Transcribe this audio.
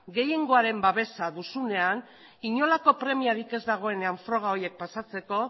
gehiengoaren babesa duzunean inolako premiarik ez dagoenean froga horiek pasatzeko